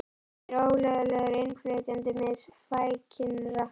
Þetta er ólöglegur innflytjandi með flækingsrakka.